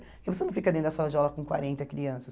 Porque você não fica dentro da sala de aula com quarenta crianças.